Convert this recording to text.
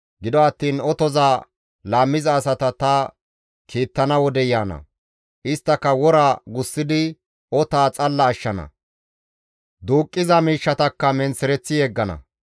Gido attiin otoza laammiza asata ta kiittana wodey yaana; isttaka wora gussidi otaa xalla ashshana; duuqqiza miishshatakka menththereththi yeggana.